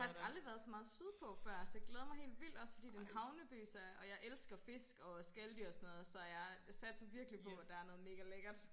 Faktisk aldrig været så meget sydpå før så jeg glæder mig helt vildt også fordi det en havneby så og jeg elsker fisk og skaldyr og sådan noget så jeg satser virkelig på der er noget mega lækkert